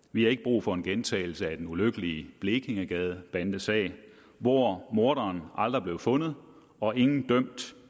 vi har ikke brug for en gentagelse af den ulykkelige blekingegadebandesag hvor morderen aldrig blev fundet og ingen blev dømt